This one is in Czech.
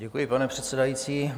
Děkuji, pane předsedající.